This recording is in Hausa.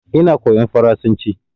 Ina koyan faransanci